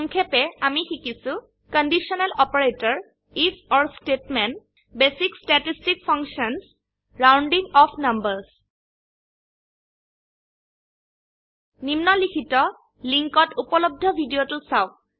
সংক্ষেপে আমি শিকিছো conditional operator if or statement basic statistic function rounding off numbers নিম্নলিখিত লিঙ্কত উপলব্ধ ভিডিওটো চাওক